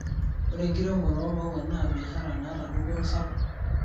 Ore enkiremore omaua na biashara nata dupoto sapuk.